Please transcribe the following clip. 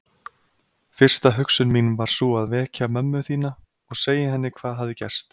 Fyrsta hugsun mín var sú að vekja mömmu þína og segja henni hvað hafði gerst.